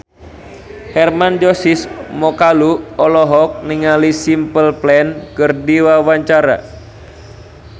Hermann Josis Mokalu olohok ningali Simple Plan keur diwawancara